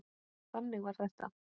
Þannig var þetta!